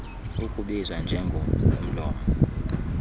ukubizwa njengo omlomo